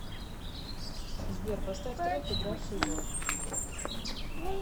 сбер поставь трек игравший до